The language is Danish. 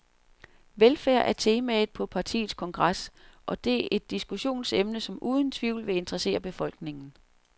Velfærd er temaet på partiets kongres, og det er et diskussionsemne, som uden tvivl vil interessere befolkningen.